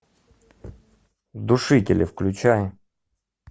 душители включай